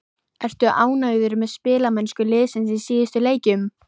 Ertu ánægður með spilamennsku liðsins í síðustu leikjum?